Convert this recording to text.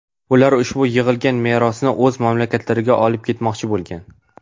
Ular ushbu yig‘ilgan merosni o‘z mamlakatlariga olib ketmoqchi bo‘lgan.